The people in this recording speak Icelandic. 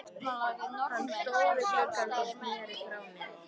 Hann stóð við gluggann og sneri frá mér.